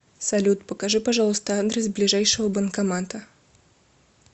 салют покажи пожалуйста адрес ближайшего банкомата